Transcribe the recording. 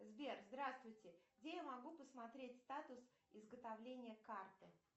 сбер здравствуйте где я могу посмотреть статус изготовления карты